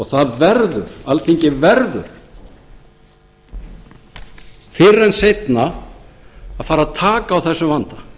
það verður alþingi verður fyrr en seinna að fara að taka á þessum vanda